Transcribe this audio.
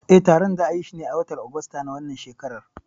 Eh, taron za'ayishi ne a watan Ogosta na wannan shekarar.